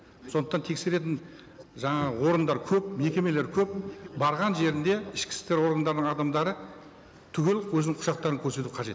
сондықтан тексеретін жаңа органдар көп мекемелер көп барған жерінде ішкі істер органдарының адамдары түгел өзінің құжаттарын көрсету қажет